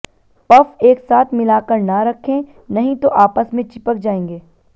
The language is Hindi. पफ एक साथ मिलाकर न रखें नहीं तो आपस में चिपक जाएंगे